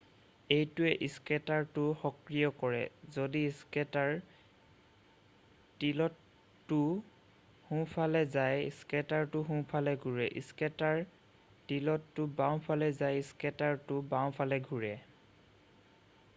এইটোৱে স্কেটাৰটো সক্ৰিয় কৰে যদি স্কেটাৰ টিলতটো সোঁফালে যায় স্কেটাৰটো সোঁফালে ঘুৰে স্কেটাৰ টিলতটো বাওঁফালে যায় স্কেটাৰটো বাওঁফালে ঘুৰে